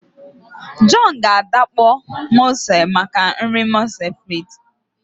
John ga adakpọ mussels maka nri moules frites